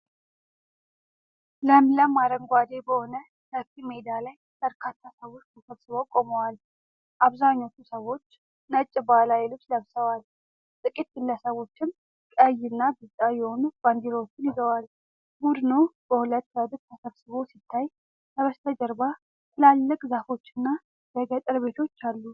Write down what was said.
ለምለም አረንጓዴ በሆነ ሰፊ ሜዳ ላይ በርካታ ሰዎች ተሰብስበው ቆመዋል። አብዛኞቹ ሰዎች ነጭ ባህላዊ ልብስ ለብሰዋል። ጥቂት ግለሰቦችም ቀይና ቢጫ የሆኑ ባንዲራዎችን ይዘዋል። ቡድኑ በሁለት ረድፍ ተሰብስቦ ሲታይ፣ ከበስተጀርባ ትላልቅ ዛፎችና የገጠር ቤቶች አሉ።